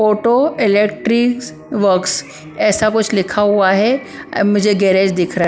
Photo electrics works ऐसा कुछ लिखा हुआ है मुझे गैरेज दिख रहा है ।